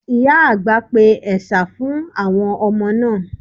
Ìyà àgbà pe ẹ̀sà fún àwọn ọmọ náà.